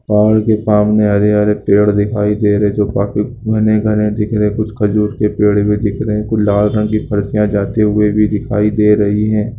पहाड़ के सामने हरे-हरे पेड़ दिखाई दे रहे जो काफी घने-घने दिख रहे कुछ खजूर के पेड़ भी दिख रहे कुछ लाल रंग की जाते हुए भी दिखाई दे रही है।